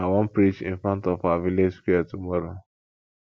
i wan preach in front of our village square tomorrow